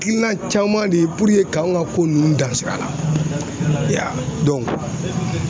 Hakilina caman de k'anw ka ko ninnu dansira